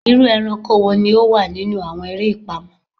Iru eranko wo ni o wa ninu awọn ere ipamọ?